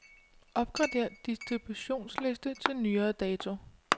Opgrader distributionsliste til nyere dato.